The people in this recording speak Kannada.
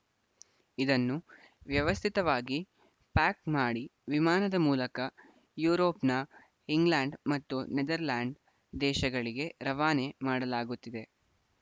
ಇದನ್ನು ವ್ಯವಸ್ಥಿತವಾಗಿ ಪ್ಯಾಕ್‌ ಮಾಡಿ ವಿಮಾನದ ಮೂಲಕ ಯುರೋಪ್‌ನ ಇಂಗ್ಲೆಂಡ್‌ ಮತ್ತು ನೆದರ್‌ಲ್ಯಾಂಡ್‌ ದೇಶಗಳಿಗೆ ರವಾನೆ ಮಾಡಲಾಗುತ್ತಿದೆ